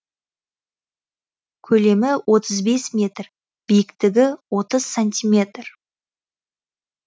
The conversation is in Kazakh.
көлемі отыз бес метр биіктігі отыз сантиметр